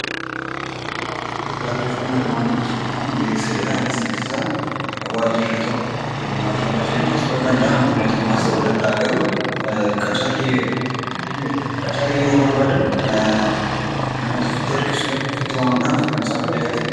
Beeksifni waajirri tokko waajjira mootummaas dhuunfaas ta'uu danda'a garuu qacarrii yeroo barbaadan namoota ofitti harkisuudhaaf ofitti waamuudhaaf kan taasisanidha.